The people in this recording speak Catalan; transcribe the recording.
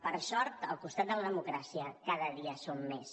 per sort al costat de la democràcia cada dia som més